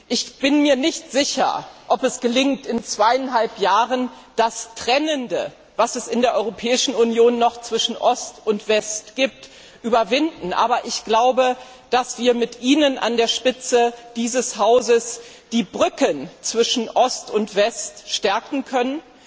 Ich bin mir nicht sicher, ob es gelingt, in zweieinhalb Jahren das Trennende, das es in der Europäischen Union noch zwischen Ost und West gibt, zu überwinden, aber ich glaube, dass wir mit Ihnen an der Spitze dieses Hauses die Brücken zwischen Ost und West stärken können.